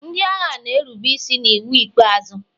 ndị agha na-erube isi n'iwu ikpeazụ.